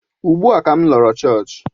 Ugbu a ka m lọrọ chọọchị